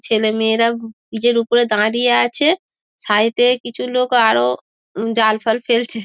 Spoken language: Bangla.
ছেলেমেয়েরা ব্রিজ এর ওপরে দাঁড়িয়ে আছে সাইড এ কিছু লোক আরো জালফাল ফেলছে।